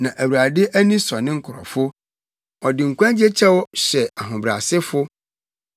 Na Awurade ani sɔ ne nkurɔfo; ɔde nkwagye kyɛw hyɛ ahobrɛasefo.